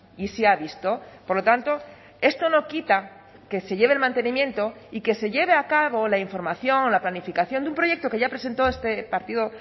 y se ha visto por lo tanto esto no quita que se lleve el mantenimiento y que se lleve a cabo la información la planificación de un proyecto que ya presentó este partido